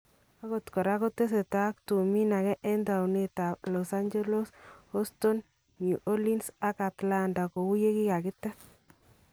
Akot koraa kotesetai ak tuumin akee en towunit ab Los Angeles, Houston ,New Orleans ak Atlanta kou yekikakiteet